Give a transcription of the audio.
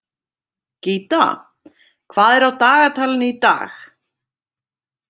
Gíta, hvað er á dagatalinu í dag?